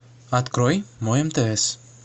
открой мой мтс